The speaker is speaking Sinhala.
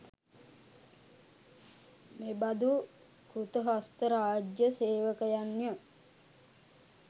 මෙබඳු කෘතහස්ත රාජ්‍ය සේවකයන්ය.